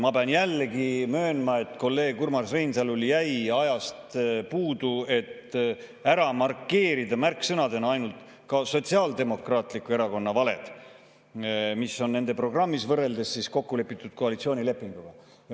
Ma pean jällegi möönma, et kolleeg Urmas Reinsalul jäi ajast puudu, et märksõnadena ära markeerida ka ainult Sotsiaaldemokraatliku Erakonna valed, mis on nende programmis, võrreldes kokkulepitud koalitsioonilepinguga.